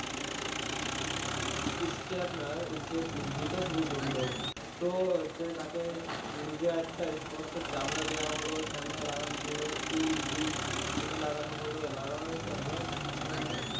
দিতে শুরু করলো তো তাকে নিজের একটা স্পষ্ট চামড়া দেওয়া হলো চামড়া লাগানো হলো চুল সেটা লাগানো হলো লাগানোর পরে